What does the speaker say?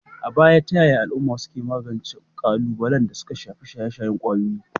A baya, ta yaya al'uma suka magance kalubalen da suka shafi shaye-shayen kwayoyi?